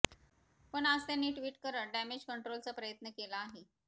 पण आज त्यांनी ट्वीट करत डॅमेज कंट्रोलचा प्रयत्न केला आहे